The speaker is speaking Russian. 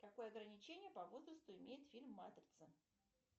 какое ограничение по возрасту имеет фильм матрица